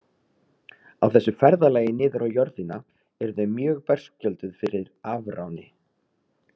Á þessu ferðalagi niður á jörðina eru þau mjög berskjölduð fyrir afráni.